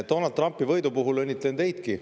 Donald Trumpi võidu puhul õnnitlen teidki.